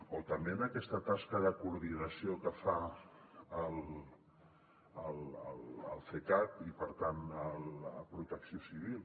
o també en aquesta tasca de coordinació que fa el cecat i per tant protecció civil